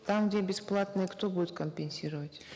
там где бесплатный кто будет компенсировать